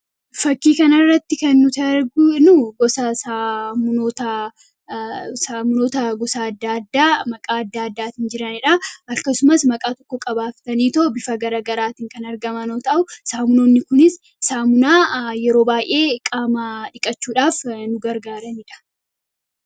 Fakkii kana irratti kan nuti arginu, gosa saamunootaa , saamunoota gosa addaa addaa maqaa addaa addaan jiranidha. Akkasumas maqaa tokko qabaatanii bifa garaagaraatiin kan argaman yoo ta'uu saamunoonni kunis saamunaa yeroo baayyee qaama dhiqachuudhaaf nu gargaaranidha.